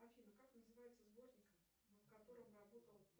афина как называется сборник над которым работал